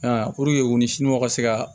puruke u nisiniw ka se ka